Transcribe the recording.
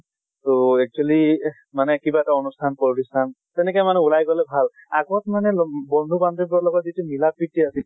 তʼ actually মানে কিবা এটা অনুষ্ঠান প্ৰতিষ্ঠান, তেনেকে মানে ওলাই গলে ভাল। আগত মানে ল বন্ধু বান্ধিৱীৰ লগত যিটো মিলা আছিল